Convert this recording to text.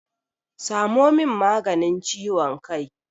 Samo min maganin ciwon kai!